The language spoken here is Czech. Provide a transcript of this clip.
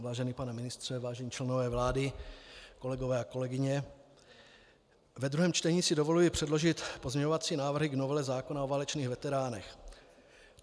Vážený pane ministře, vážení členové vlády, kolegové a kolegyně, ve druhém čtení si dovoluji předložit pozměňovací návrhy k novele zákona o válečných veteránech.